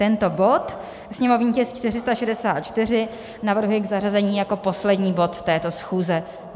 Tento bod, sněmovní tisk 464, navrhuji k zařazení jako poslední bod této schůze.